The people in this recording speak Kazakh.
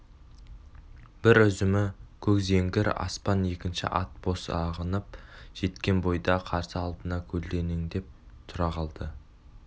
бір үзімі көк зеңгір аспан екінші ат бос ағындап жеткен бойда қарсы алдына көлденеңдеп тұра қалды